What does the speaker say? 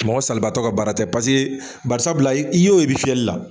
Mɔgɔ salibaatɔ ka baara tɛ bari sabula i ye o ye i bɛ fiyɛli la